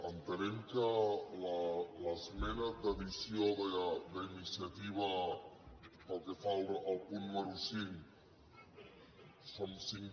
entenem que l’esmena d’addició d’iniciativa pel que fa al punt número cinc són cinc